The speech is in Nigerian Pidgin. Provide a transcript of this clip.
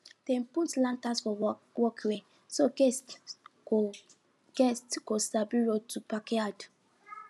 dem put lanterns for walkway so guests go guests go sabi road to backyard